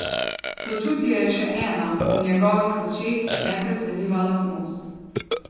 Sočutje je še ena, v njegovih očeh neprecenljiva lastnost.